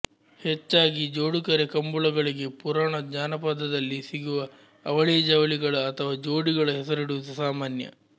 ಹೆಚ್ಚಾಗಿ ಜೋಡುಕರೆ ಕಂಬಳಗಳಿಗೆ ಪುರಾಣ ಜಾನಪದದಲ್ಲಿ ಸಿಗುವ ಅವಳಿಜವಳಿಗಳ ಅಥವಾ ಜೋಡಿಗಳ ಹೆಸರಿಡುವುದು ಸಾಮಾನ್ಯ